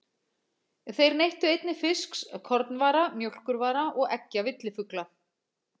Þeir neyttu einnig fisks, kornvara, mjólkurvara og eggja villifugla.